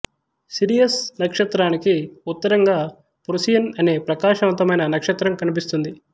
Sirius నక్షత్రానికి ఉత్తరంగా Procyon అనే ప్రకాశవంతమైన నక్షత్రం కనిపిస్తుంది